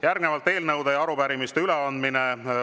Järgnevalt on eelnõude ja arupärimiste üleandmine.